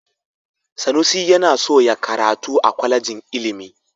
Sanusi yana so ya karatu a kwalejin ilimi.